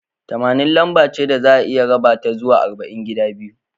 Tamanin lambace da za'a iya raba ta zuwa arba'in gida biyu.